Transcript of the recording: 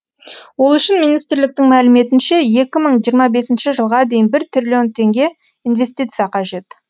ол үшін министрліктің мәліметінше екі мың жиырма бесінші жылға дейін бір триллион теңге инвестиция қажет